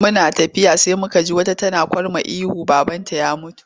Muna tafiya sai muka ji wata tana kurma ihu babanta ya mutu.